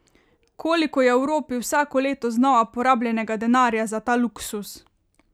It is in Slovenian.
Koliko je v Evropi vsako leto znova porabljenega denarja za ta luksuz!